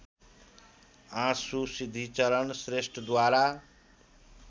आँसु सिद्धिचरण श्रेष्ठद्वारा